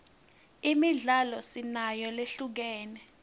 imidlalo sinayo lehlukene